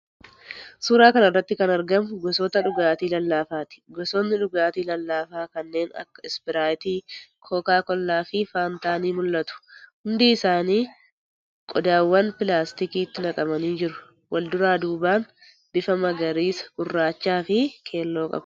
Suuraa kana irratti kan argamu gosoota dhugaatii lallaafaati. Gosootni dhugaatii lallaafaa kanneen akka ispiraayitii, kookaa kollaafi faantaa ni mul'atu. Hundi isaanii qodaawwan pilaastikiitti naqamanii jiru. Wal duraa duubaan bifa magariisa, gurraachaafi keelloo qabu.